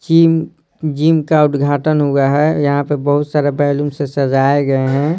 Gym gym का उद्घाटन हुआ है यहां पर बहुत सारे बैलून से सजाए गए हैं।